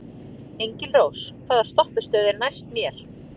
Engilrós, hvaða stoppistöð er næst mér?